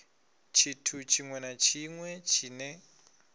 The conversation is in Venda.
tshithu tshiṅwe na tshiṅwe tshine